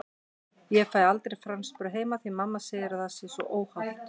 Ég fæ aldrei franskbrauð heima því mamma segir að það sé svo óhollt!